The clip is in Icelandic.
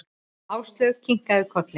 Áslaug kinkaði kolli.